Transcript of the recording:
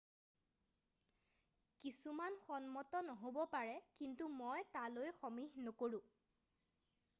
"""কিছুমান সন্মত নহব পাৰে কিন্তু মই তালৈ সমীহ নকৰোঁ।""